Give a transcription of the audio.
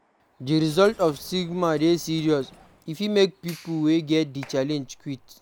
Di result of stigma dey serious, e fit make pipo wey get di challenge quiet